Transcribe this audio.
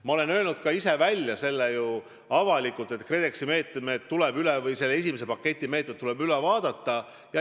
Ma olen ju ise ka avalikult öelnud, et KredExi esimese paketi meetmed tuleb üle vaadata.